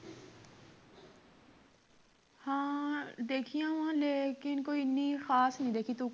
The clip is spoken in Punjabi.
ਹਾਂ ਦੇਖੀਆਂ ਵਾ ਪਰ ਇੰਨੀ ਕੋਈ ਖਾਸ ਨਹੀਂ ਦੇਖੀ ਤੂੰ